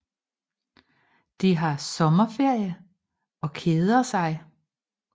De har sommerferie og keder sig